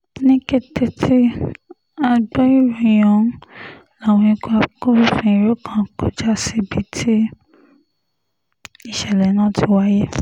ní kété tí a gbọ́ ìròyìn ọ̀hún láwọn ikọ̀ agbófinró kan kọjá síbi tí ìṣẹ̀lẹ̀ náà ti wáyé